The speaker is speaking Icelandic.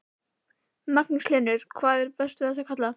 Magnús Hlynur: Hvað er best við þessa kalla?